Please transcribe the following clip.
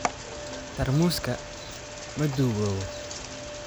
Taarmuuska ma duugowo.